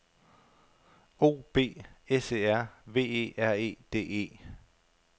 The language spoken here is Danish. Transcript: O B S E R V E R E D E